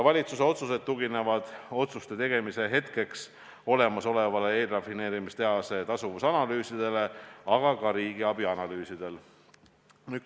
Valitsuse otsused tuginevad otsuste tegemise hetkel olemasolevatele eelrafineerimistehase tasuvuse analüüsidele, aga ka riigiabi analüüsidele.